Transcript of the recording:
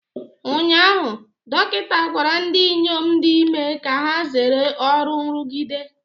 Ụnyaahụ, dọkịta gwara ndị inyom dị ime ka ha zere ọrụ nrụgide